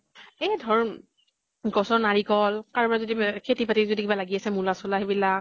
এই ধৰ গছৰ নাৰিকল, কাৰোবাৰ যদি মেহ খাতি বাতি যদি কিবা লাগি আছে, মূলা চুলা সেইবিলাক